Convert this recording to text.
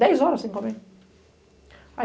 Dez horas sem comer. Aí